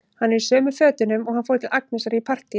Hann er í sömu fötunum og hann fór í til Agnesar í partíið.